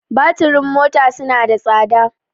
Batirin mota suna sa tsada.